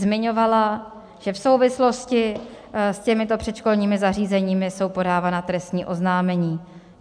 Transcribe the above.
Zmiňovala, že v souvislosti s těmito předškolními zařízeními jsou podávána trestní oznámení.